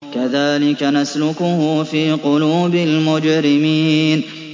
كَذَٰلِكَ نَسْلُكُهُ فِي قُلُوبِ الْمُجْرِمِينَ